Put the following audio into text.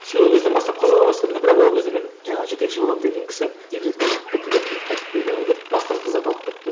сол кезден бастап қызыға бастадым да бірақ ол кезде мен жаңағы жетекші боламын деген кісі декретке шығып кетті де кейін қайтып келген бойда басқа қыздарды алып қойыпты